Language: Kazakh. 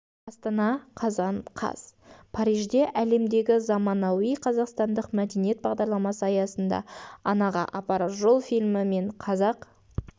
астана қазан қаз парижде әлемдегі заманауи қазақстандық мәдениет бағдарламасы аясында анаға апарар жол фильмі мен қазақ